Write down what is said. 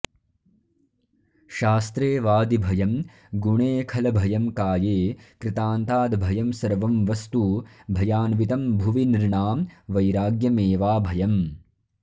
शास्त्रे वादिभयं गुणे खलभयं काये कृतान्ताद्भयं सर्वं वस्तु भयान्वितं भुवि नृणां वैराग्यमेवाभयम्